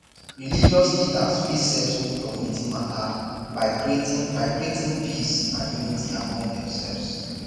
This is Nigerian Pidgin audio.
religious leaders fit settle community mata by creating by creating peace and unity among themselves